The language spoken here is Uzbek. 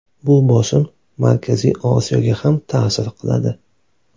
Bu bosim Markaziy Osiyoga ham ta’sir qiladi.